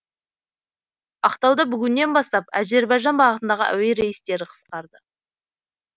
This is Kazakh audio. ақтауда бүгіннен бастап әзербайжан бағытындағы әуе рейстері қысқарды